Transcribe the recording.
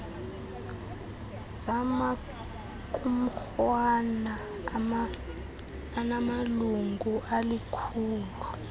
zamaqumrhwana anamalungu alikhulu